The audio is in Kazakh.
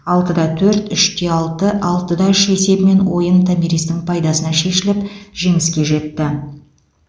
алты да төрт үш те алты алты да үш есебімен ойын томиристің пайдасына шешіліп жеңіске жетті